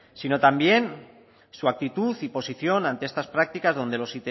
sino también su actitud y posición ante estas prácticas donde los